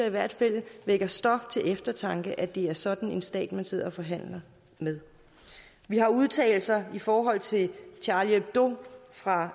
i hvert fald det vækker stof til eftertanke at det er sådan en stat man sidder og forhandler med vi har udtalelser i forhold til charlie hebdo fra